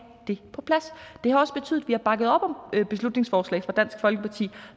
det på plads det har også betydet at vi har bakket op om beslutningsforslag fra dansk folkeparti